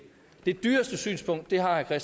er